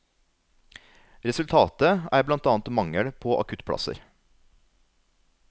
Resultatet er blant annet mangel på akuttplasser.